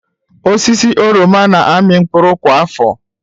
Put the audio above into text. Osisi oroma na-amị mkpụrụ kwa afọ.